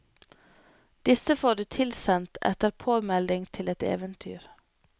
Disse får du tilsendt etter påmelding til et eventyr.